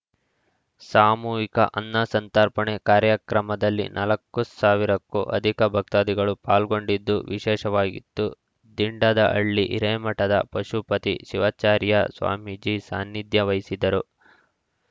ಸಾಮೂಹಿಕ ಅನ್ನ ಸಂತರ್ಪಣೆ ಕಾರ್ಯಕ್ರಮದಲ್ಲಿ ನಾಲ್ಕು ಸಾವಿರಕ್ಕೂ ಅಧಿಕ ಭಕ್ತಾದಿಗಳು ಪಾಲ್ಗೊಂಡಿದ್ದು ವಿಶೇಷವಾಗಿತ್ತು ದಿಂಡದಹಳ್ಳಿ ಹಿರೇಮಠದ ಪಶುಪತಿ ಶಿವಾಚಾರ‍್ಯ ಸ್ವಾಮೀಜಿ ಸಾನ್ನಿಧ್ಯ ವಹಿಸಿದ್ದರು